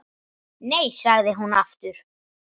Nei, sagði hún aftur.